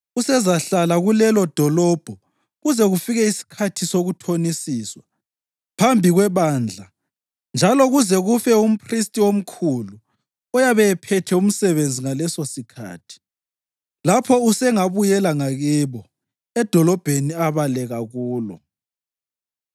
Usezahlala kulelodolobho kuze kufike isikhathi sokuthonisiswa phambi kwebandla njalo kuze kufe umphristi omkhulu oyabe ephethe umsebenzi ngalesosikhathi. Lapho usengabuyela ngakibo, edolobheni abaleka kulo.”